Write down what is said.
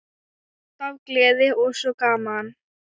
Alltaf gleði og svo gaman.